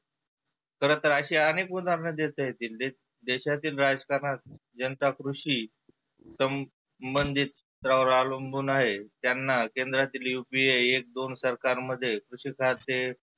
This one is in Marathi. खरं तर असे अनेक उदाहरण देता येतील. देशातील राहकारणात जनता कृषी संबधीत वर आवलंबुन आहे. त्यांना केंद्रातील एक दोन करतान मध्ये कृषी खाते.